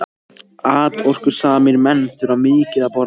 Atorkusamir menn þurfa mikið að borða.